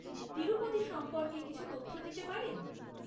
তিরুপতি সম্পর্কে কিছু তথ্য দিতে পারেন?